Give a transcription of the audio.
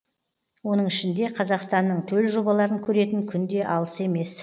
оның ішінде қазақстанның төл жобаларын көретін күн де алыс емес